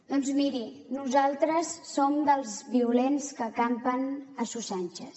doncs miri nosaltres som dels violents que campen a sus anchas